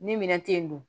Ni minɛn te yen nɔ